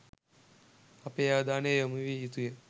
අපේ අවධානය යොමු විය යුතුය.